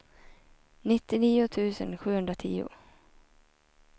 nittionio tusen sjuhundratio